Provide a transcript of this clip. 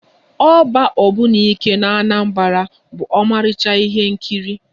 Ọgba ogbunike n'Anambra bụ ọmarịcha ihe nkiri